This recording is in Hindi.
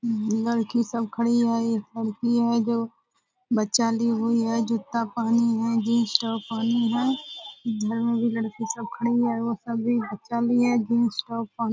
लड़की सब खड़ी है इ लड़की है जो बच्चा ली हुई है जूता पहनी हुई है जींस टॉप पहनी है इधर में भी लड़की सब खड़ी है वो सब भी बच्चा ली हैजींस टॉप पहने --